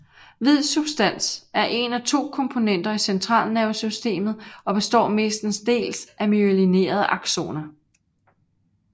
Hvid substans er en af de to komponenter i centralnervesystemet og består mestendels af myelinerede aksoner